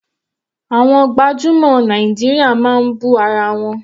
Àwọn gbajúmọ̀ Nàìjíríà máa bú ara wọn.